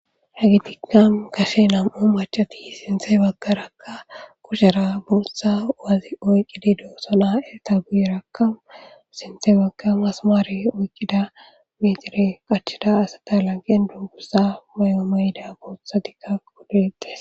hagitikka kashe nam7u macati sinthe baggaraka kushera buotha wazi oyqqidi doosonaa7eta guyerakkamu sinthe bagga masamaari oyqqida metire qachida asata lanqen dungussa may7oomeyda boothadikka qodites